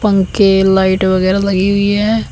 पंखे लाइट वगैरह लगी हुई है।